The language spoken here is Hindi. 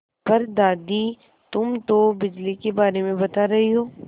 पर दादी तुम तो बिजली के बारे में बता रही हो